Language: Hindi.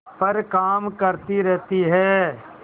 पर काम करती रहती है